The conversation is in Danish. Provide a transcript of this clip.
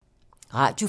Radio 4